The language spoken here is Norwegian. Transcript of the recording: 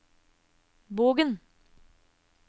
Bogen